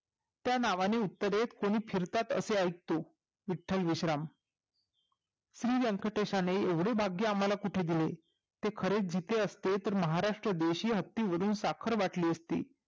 त्या नावाने उत्तरेला फिरतात हे असे ऐकतो विट्टल विश्राम श्री व्यकंटेशाने येव्हढे भाग्य कुठे दिले ते खरे जिते असते तर महाराष्ट्र देशी हत्ती वरून साखर वाटली असती